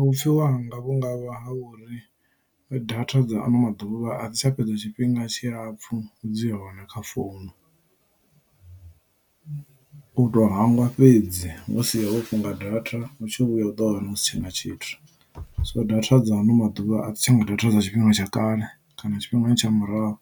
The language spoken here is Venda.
Vhupfhiwa hanga vhungavha ha uri data dza ano maḓuvha a dzi tsha fhedza tshifhinga tshilapfhu dzi hone kha founu u to hangwa fhedzi musi ho funga data u tshi vhuya u do wana hu si tshena tshithu so data dza ano maḓuvha a dzi tsha nga data dza tshifhinga tsha kale kana tshifhingani tsha murahu